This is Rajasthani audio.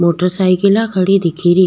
मोटरसाइकिला खड़ी दिखेरी।